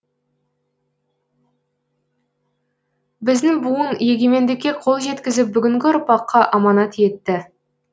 біздің буын егемендікке қол жеткізіп бүгінгі ұрпаққа аманат етті